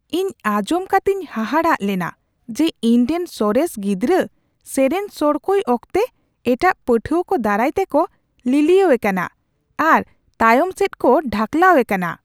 ᱤᱧ ᱟᱸᱡᱚᱢ ᱠᱟᱛᱮᱧ ᱦᱟᱦᱟᱲᱟᱜ ᱞᱮᱱᱟ ᱡᱮ ᱤᱧᱨᱮᱱ ᱥᱚᱨᱮᱥ ᱜᱤᱫᱽᱨᱟᱹ ᱥᱮᱨᱮᱧ ᱥᱚᱲᱠᱚᱭ ᱚᱠᱛᱮ ᱮᱴᱟᱜ ᱯᱟᱹᱴᱷᱩᱣᱟ ᱠᱚ ᱫᱟᱨᱟᱭ ᱛᱮᱠᱚ ᱞᱤᱞᱤᱭᱟᱹᱣᱮ ᱠᱟᱱᱟ ᱟᱨ ᱛᱟᱭᱚᱱᱚᱢ ᱥᱮᱫ ᱠᱚ ᱰᱷᱟᱠᱞᱟᱣᱮ ᱠᱟᱱᱟ ᱾